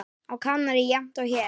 Á Kanarí jafnt og hér.